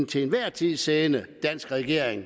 til enhver tid siddende danske regering